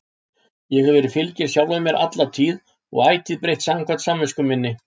Ég hef verið fylginn sjálfum mér alla tíð og ætíð breytt samkvæmt samvisku minni.